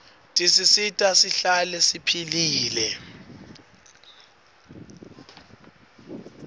tisisita sihlale siphilile